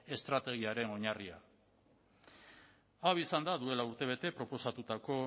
estrategiaren oinarria hau izan da duela urtebete proposatutako